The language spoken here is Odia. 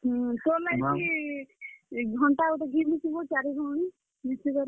ହୁଁ, ତୋର୍ ଲାଗି ଇ ଘଣ୍ଟା ଗୁଟେ ଘିନି ଦେଇଛୁଁ ବୋ ଚାର୍ ହି ଭଉଣୀ, ମିଶିକରି।